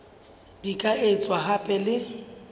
di ka etswa hape le